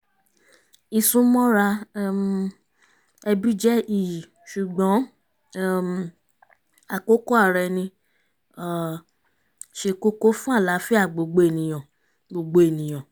ìsúnmọ́ra um ẹbí jẹ́ iyì ṣùgbọ́n um àkókò ara ẹni ṣe kókó fún àlààfíà gbogbo ènìyàn gbogbo ènìyàn